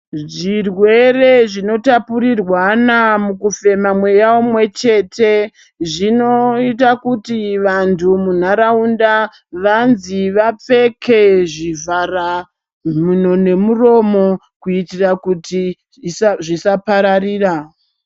Zvirwere zvinotapurirwana mukufema mweya umwechete zvinoita kuti vantu munharaunda vanzi vapfeke zvivharamhuno nemuromo kuitira kuti zvisapararira.